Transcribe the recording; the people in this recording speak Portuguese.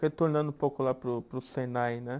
Retornando um pouco lá para o, para o Senai, né?